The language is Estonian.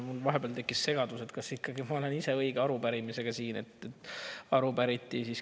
Mul vahepeal tekkis segadus, kas ma olen ise õige arupärimisega siin.